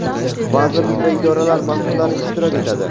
vazirlik va idoralar masʼullari ishtirok etadi.